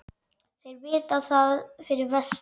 Þeir vita það fyrir vestan